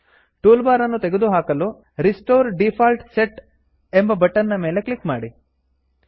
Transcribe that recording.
tool bar ಅನ್ನು ತೆಗೆದು ಹಾಕಲು restore default set restore default set ಎಂಬ ಬಟನ್ ನ ಮೇಲೆ ಕ್ಲಿಕ್ ಮಾಡಿ